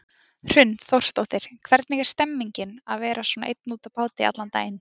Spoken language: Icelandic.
Hrund Þórsdóttir: Hvernig er stemmingin að vera svona einn úti á báti allan daginn?